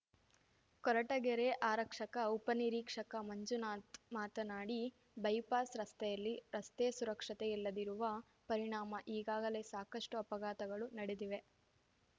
ಕೊರಟಗೆರೆ ಆರಕ್ಷಕ ಉಪನಿರೀಕ್ಷಕ ಮಂಜುನಾಥ್ ಮಾತನಾಡಿ ಬೈಪಾಸ್ ರಸ್ತೆಯಲ್ಲಿ ರಸ್ತೆ ಸುರಕ್ಷತೆ ಇಲ್ಲದಿರುವ ಪರಿಣಾಮ ಈಗಾಗಲೇ ಸಾಕಷ್ಟು ಅಪಘಾತಗಳು ನಡೆದಿವೆ